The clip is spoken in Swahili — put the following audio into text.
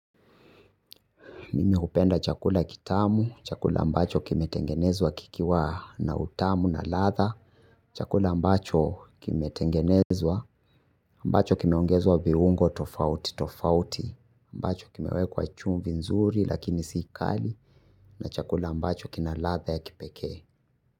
Mimi hupenda chakula kitamu, chakula ambacho kimetengenezwa kikiwa na utamu na ladha, chakula ambacho kimetengenezwa, ambacho kime ongezwa viungo tofauti tofauti, ambacho kimewekwa chumvi nzuri lakini si kali, na chakula ambacho kina ladha ya kipekee.